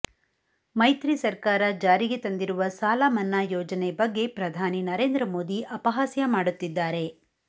ಮೈತ್ರಿ ಸರ್ಕಾರ ಜಾರಿಗೆ ತಂದಿರುವ ಸಾಲಮನ್ನಾ ಯೋಜನೆ ಬಗ್ಗೆ ಪ್ರಧಾನಿ ನರೇಂದ್ರ ಮೋದಿ ಅಪಹಾಸ್ಯ ಮಾಡುತ್ತಿದ್ದಾರೆ